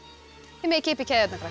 þið megið kippa í keðjurnar krakkar